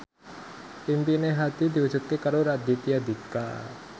impine Hadi diwujudke karo Raditya Dika